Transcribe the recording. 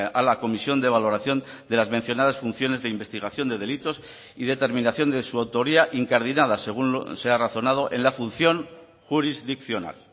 a la comisión de valoración de las mencionadas funciones de investigación de delitos y determinación de su autoría incardinada según se ha razonado en la función jurisdiccional